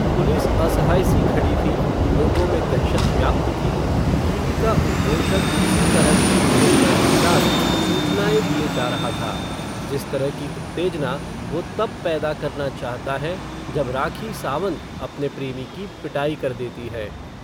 police असहाय सी खड़ी थी, लोगों में दहशत व्याप्त थी, टीवी का उदघोषक उसी तरह की उत्तेजना के साथ, सूचनाएं दिए जा रहा था, जिस तरह की उत्तेजना, वो तब पैदा करना चाहता है, जब राखी सावंत, अपने प्रेमी की पिटाई कर देती है